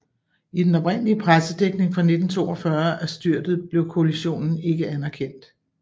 I den oprindelige pressedækning fra 1942 af styrtet blev kollisionen ikke anerkendt